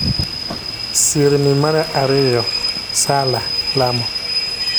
Sirni mar ariyo: Salah (Lamo).